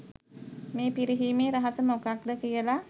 මේ පිරිහීමේ රහස මොකක්ද කියලා.